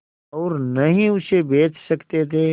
और न ही उसे बेच सकते थे